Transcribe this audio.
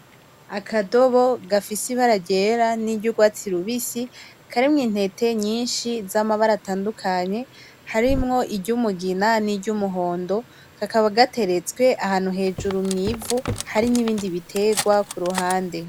Akadobo gafise imbara ryera n’uryarwasti rubisi karimwo intete nyishi zamabara atadukanye harimwo iryumugina niryu muhondo kakaba gaterestwe ahantu hejuru mwivu hari ibindi biterwa kuruhande.